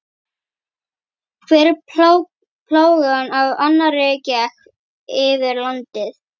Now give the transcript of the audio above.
Hver plágan af annarri gekk yfir landið.